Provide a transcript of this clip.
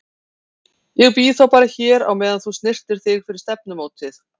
Ég bíð þá bara hér á meðan þú snyrtir þig fyrir stefnumótið.